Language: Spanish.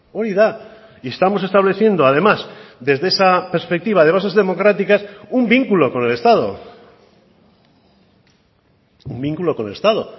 hori da y estamos estableciendo además desde esa perspectiva de bases democráticas un vínculo con el estado un vínculo con el estado